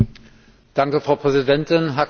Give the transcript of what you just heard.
Frau Präsidentin, Herr Kommissar!